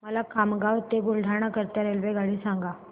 मला खामगाव ते बुलढाणा करीता रेल्वेगाडी सांगा